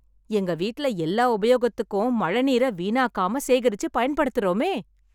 எங்க வீட்ல எல்லா உபயோகத்துக்கும் மழைநீரை, வீணாக்காம சேகரிச்சு, பயன்படுத்தறோமே.